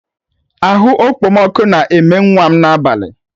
Ahu Okpomọkụ na eme nwa'm n'abalị.